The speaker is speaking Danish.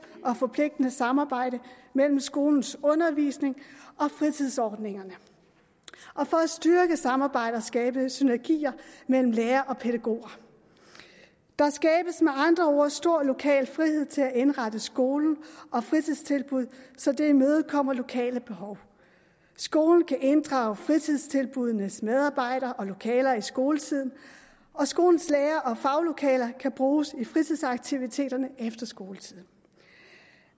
og forpligtende samarbejde mellem skolens undervisning og fritidsordningerne og for at styrke samarbejdet og skabe synergier mellem lærere og pædagoger der skabes med andre ord stor lokal frihed til at indrette skolen og fritidstilbud så det imødekommer lokale behov skolen kan inddrage fritidstilbuddenes medarbejdere og lokaler i skoletiden og skolens lærere og faglokaler kan bruges i fritidsaktiviteterne efter skoletid